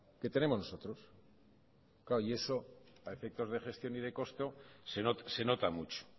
que tenemos nosotros y eso a efectos de gestión y de costo se nota mucho